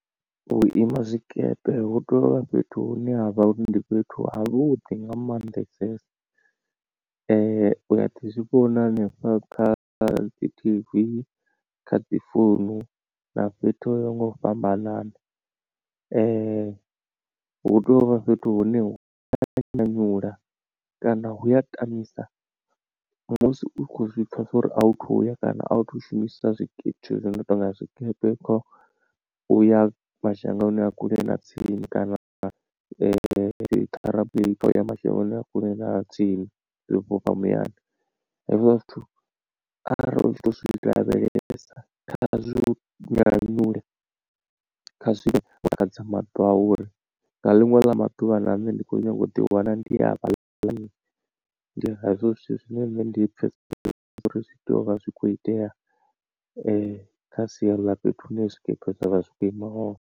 Vhuima zwikepe hu tea uvha fhethu hune ha vha uri ndi fhethu havhuḓi nga maanḓesesa u a ḓi zwivhona hanefha kha dzi T_V, kha dzi founu na fhethu ho ya ho nga u fhambanana hu tea uvha fhethu hune hu ya nyanyula kana hu a tamisa musi u khou zwi pfa zwa uri authu thuya kana authu shumisa zwikipa zwithu zwo no tou nga zwikepe. Kha uya mashangoni a kule na tsini kana aeroplane i khou ya mashangoni a kule na a tsini i fhufha muyani. Hezwiḽa zwithu arali u tshi tou zwi lavhelesa khazwi u nyanyule kha zwi takadze maṱo a u uri nga liṅwe ḽa maḓuvha na nṋe ndi kho nyaga u ḓi wana ndi hafha ḽani ndi hezwo zwithu zwine nṋe ndi pfha uri zwi tea u vha zwi kho itea kha sia ḽa fhethu hune zwikepe zwa vha zwi khou ima hone.